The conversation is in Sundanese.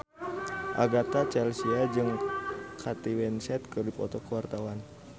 Agatha Chelsea jeung Kate Winslet keur dipoto ku wartawan